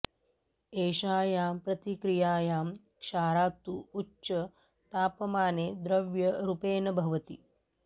एषायां प्रतिक्रियायां क्षारातु उच्च तापमानॆ द्रव्य रूपेण भवति